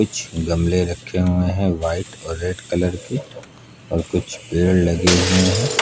कुछ गमले रखे हुए हैं व्हाइट और रेड कलर के और कुछ पेड़ लगे हुए हैं।